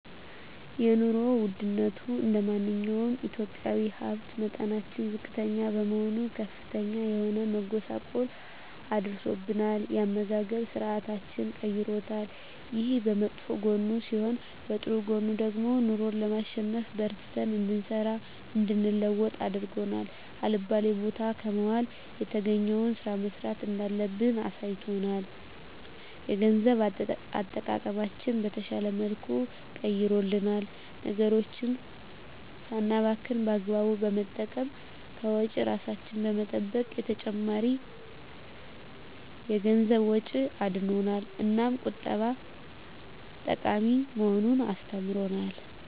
የኑሮ ወድነቱ እንደማንኛውም ኢትዮጵያዊ የሀብት መጠናችን ዝቅተኛ በመሆኑ ከፍተኛ የሆነ መጎሳቆል አድርሶብናል የአመጋገብ ስርአታችንንም ቀይሮታል። ይሄ በመጥፎ ጎኑ ሲሆን በጥሩ ጎኑ ደግሞ ኑሮን ለማሸነፍ በርትተን እንድንሰራ እንድንለወጥ አድርጎ አልባሌ ቦታ ከመዋል የተገኘዉን ስራ መስራት እንዳለብን አሳይቶናል። የገንዘብ አጠቃቀማችንን በተሻለ መልኩ ቀይሮልናል ነገሮችን ሳናባክን በአግባቡ በመጠቀም ከወጪ እራሳችንን በመጠበቅ ከተጨማሪ የገንዘብ ወጪ አድኖናል። እናም ቁጠባ ጠቃሚ መሆኑን አስተምሮናል።